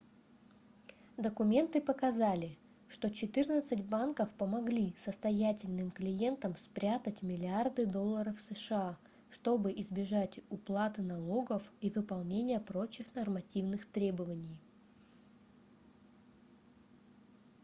документы показали что четырнадцать банков помогли состоятельным клиентам спрятать миллиарды долларов сша чтобы избежать уплаты налогов и выполнения прочих нормативных требований